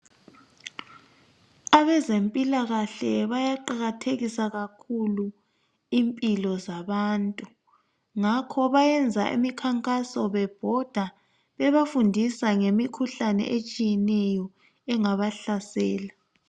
Abezempilakahle bayaqakathekisa kakhulu impilo zabantu ngakho bayenza imikhankaso bebhoda bebafundisa ngemikhuhlane etshiyeneyo engabahlasela .